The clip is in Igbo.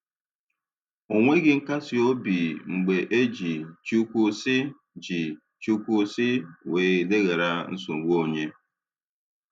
O nweghị nkasi obi mgbe e ji "Chukwu sị" ji "Chukwu sị" wee leghara nsogbu onye.